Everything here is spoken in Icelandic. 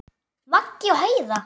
Maggi og Heiða.